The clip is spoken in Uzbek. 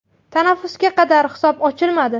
Tanaffusga qadar hisob ochilmadi.